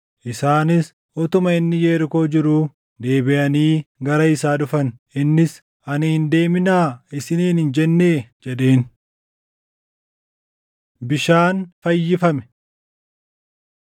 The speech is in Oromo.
Isaanis utuma inni Yerikoo jiruu deebiʼanii gara isaa dhufan; innis, “Ani hin deeminaa isiniin hin jennee?” jedheen. Bishaan Fayyifame